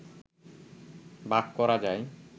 ভাগ করা যায়।